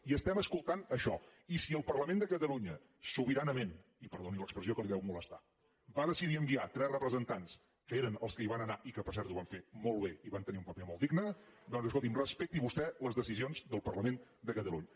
i estem escoltant això i si el parlament de catalunya sobiranament i perdoni l’expressió que el deu molestar va decidir enviar tres representants que eren els que hi van anar i que per cert ho van fer molt bé i van tenir un paper molt digne doncs escolti’m respecti vostè les decisions del parlament de catalunya